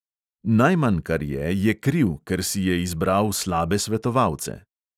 Najmanj, kar je, je kriv, ker si je izbral slabe svetovalce.